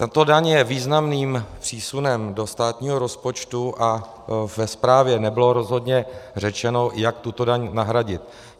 Tato daň je významným přísunem do státního rozpočtu a ve zprávě nebylo rozhodně řečeno, jak tuto daň nahradit.